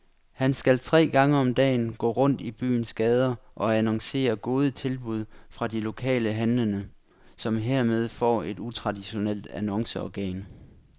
Han skal tre gange om dagen gå rundt i byens gader og annoncere gode tilbud fra de lokale handlende, som hermed får et utraditionelt annonceorgan.